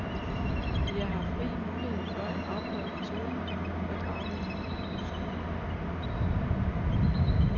Vi har haft rig mulighed for at afprøve metoden og drage nogle konklusioner.